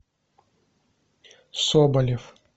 соболев